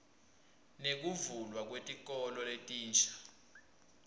nekuvulwa kwetikolo letinsha